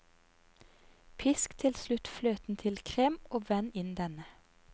Pisk til slutt fløten til krem, og vend inn denne.